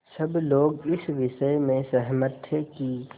सब लोग इस विषय में सहमत थे कि